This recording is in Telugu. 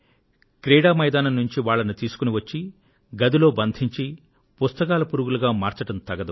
ఆట మైదానం నుంచి వాళ్లను తెచ్చి గదిలో బంధించి పుస్తకాల పురుగులుగా మార్చడం తగదు